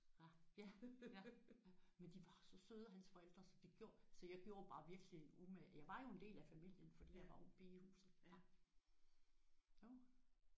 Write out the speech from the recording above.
Ja ja men de var så søde hans forældre så det gjorde så jeg gjorde mig virkelig umage. Jeg var jo en del af familien fordi jeg var ung pige i huset